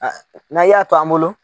N'a y'a to an bolo.